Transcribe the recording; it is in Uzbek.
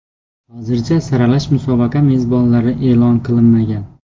Hozircha saralash musobaqa mezbonlari e’lon qilinmagan.